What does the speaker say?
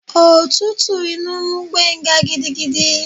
Òtútù inú mú Gbenga gidigidi.